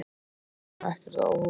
Þetta kom honum ekkert á óvart.